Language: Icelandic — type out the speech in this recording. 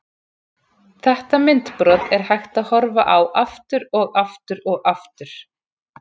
Þetta myndbrot er hægt að horfa á aftur og aftur og aftur.